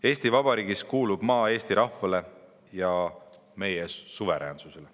Eesti Vabariigis kuulub maa Eesti rahvale ja meie suveräänsusele.